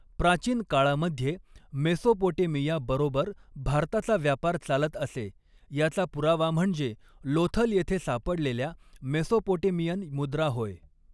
प्राचीन काळामध्येे मेसोपोटेमिया बरोबर भारताचा व्यापार चालत असे याचा पुरावा म्हणजे लोथल येथे सापडलेल्या मेसोपोटेमियन मुद्रा होय.